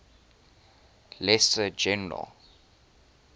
lesser general